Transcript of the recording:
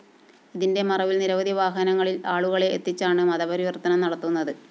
ഇതിന്റെ മറവില്‍ നിരവധി വാഹനങ്ങളില്‍ ആളുകളെ എത്തിച്ചാണ് മതപരിവര്‍ത്തനം നടത്തുന്നത്